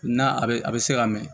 N'a bɛ a bɛ se ka mɛ